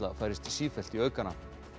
færist sífellt í aukana